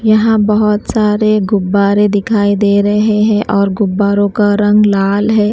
यहाँ बहुत सारे गुब्बारे दिखाई दे रहे हैं और गुब्बारों का रंग लाल है।